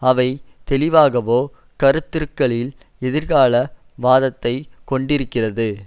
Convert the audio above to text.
அவை தெளிவாகவே கருத்துருக்களில் எதிர்கால வாதத்தைக் கொண்டிருக்கிறது